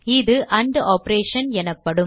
இது ant operation எனப்படும்